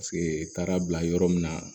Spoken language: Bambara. Paseke taara bila yɔrɔ min na